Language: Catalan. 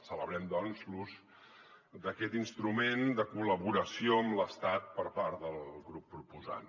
celebrem doncs l’ús d’aquest instrument de col·laboració amb l’estat per part del grup proposant